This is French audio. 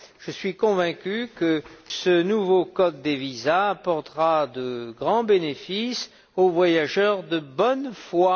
Je suis convaincu que ce nouveau code des visas apportera de grands bénéfices aux voyageurs de bonne foi.